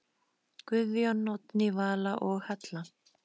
Guðjón, Oddný Vala og Halla.